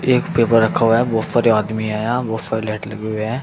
एक पेपर रखा हुआ है। बोहोत सारे आदमी हैं यहां। बोहोत सारे लाइट लगे हुए हैं।